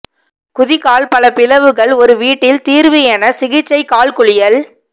குதிகால் பல பிளவுகள் ஒரு வீட்டில் தீர்வு என சிகிச்சை கால் குளியல்